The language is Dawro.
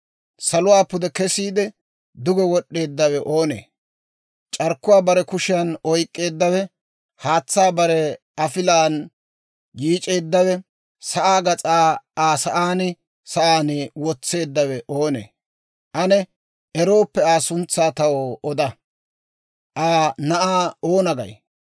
Saluwaa pude kesiide, duge wod'd'eeddawe oonee? C'arkkuwaa bare kushiyaan oyk'k'eeddawe, haatsaa bare afilaan yiic'eeddawe, sa'aa gas'aa Aa sa'aan sa'aan wotseeddawe oonee? Ane erooppe Aa suntsaa taw oda. Aa na'aa oona gay?